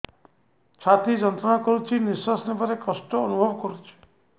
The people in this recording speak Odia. ଛାତି ଯନ୍ତ୍ରଣା କରୁଛି ନିଶ୍ୱାସ ନେବାରେ କଷ୍ଟ ଅନୁଭବ କରୁଛି